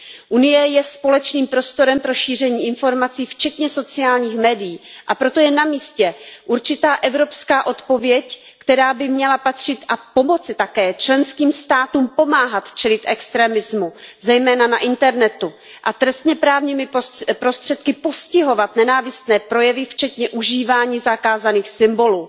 Evropská unie je společným prostorem pro šíření informací včetně sociálních médií, a proto je namístě určitá evropská odpověď, která by měla patřit a také pomoci členských státům pomáhat čelit extremismu, zejména na internetu, a trestněprávními prostředky postihovat nenávistné projevy včetně užívání zakázaných symbolů.